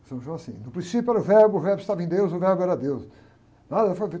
São João assim, no princípio era o verbo, o verbo estava em Deus, o verbo era Deus. Nada...